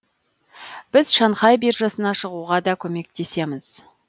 біз шанхай биржасына шығуға да көмектесеміз